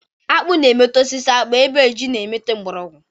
Akpụ na-emeta n'osisi akpụ ebe ji na-emeta na mgbọrọgwọ.